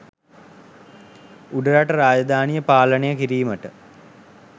උඩරට රාජධානිය පාලනය කිරීමට